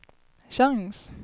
chans